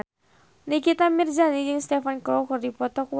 Nikita Mirzani jeung Stephen Chow keur dipoto ku wartawan